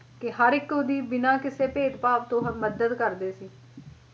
ਕੇ ਹਰ ਇੱਕ ਦੀ ਬਿਨਾਂ ਕਿਸੇ ਭੇਦ-ਭਾਵ ਤੋਂ ਮੱਦਦ ਕਰਦੇ ਸੀ